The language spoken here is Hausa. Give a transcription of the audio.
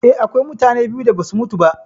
Eh, akwai mutane biyu da basu mutu ba.